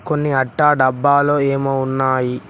కొన్ని అట్టా డబ్బాలో ఏమో ఉన్నాయి.